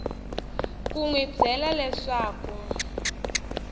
ku n wi byela leswaku